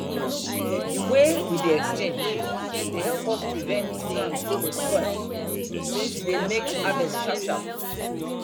the way we dey exchange dey help us prevent plant to spoil since e dey make harvest sharp sharp